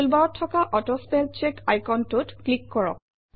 টুলবাৰত থকা auto spell check আইকনটোত ক্লিক কৰক